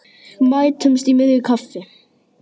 Mætumst í miðju kafi.